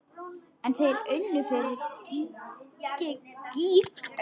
En þeir unnu fyrir gýg.